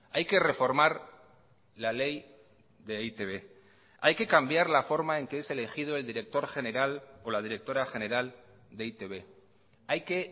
hay que reformar la ley de e i te be hay que cambiar la forma en que es elegido el director general o la directora general de e i te be hay que